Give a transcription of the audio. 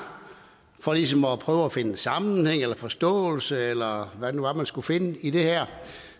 for ligesom at prøve at finde sammenhæng eller forståelse eller hvad det nu var man skulle finde i det her